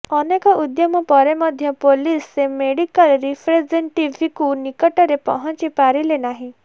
ଅନେକ ଉଦ୍ୟମ ପରେ ମଧ୍ୟ ପୁଲିସ ସେ ମେଡିକାଲ୍ ରିପ୍ରେସେନ୍ଟେଟିଭ୍ଙ୍କ ନିକଟରେ ପହଞ୍ଚି ପାରିଲେ ନାହିଁ